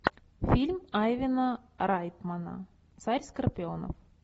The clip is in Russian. фильм айвена райтмана царь скорпионов